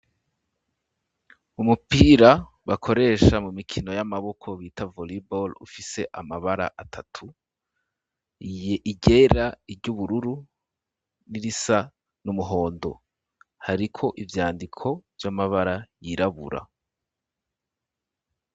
Umupira, bakoresha mu mikino y'amaboko ,bita volibore ,ufise amabara atatu, iryera,,iryubururu ,n'irisa n'umuhondo ,hariko ivyandiko vy'amabara ,yirabura.